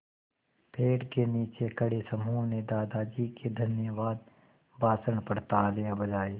पेड़ के नीचे खड़े समूह ने दादाजी के धन्यवाद भाषण पर तालियाँ बजाईं